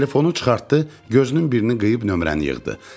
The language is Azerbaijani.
Telefonu çıxartdı, gözünün birini qıyıb nömrəni yığdı.